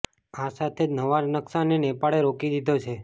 આ સાથે જ નવા નકશાને નેપાળે રોકી દીધો છે